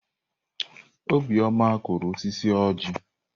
Obioma kụrụ osisi ọjị.